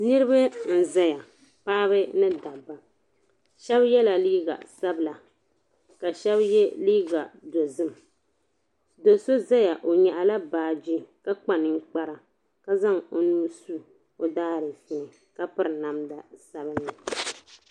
Niriba n-zaya. Paɣiba ni dabba. Shɛba yɛla liiga sabila ka shɛba ye liiga dozim. Do' so zaya o nyaɣila baaji ka kpa niŋkpara ka zaŋ o nuu su o daajiifu ni ka piri namda sabilinli.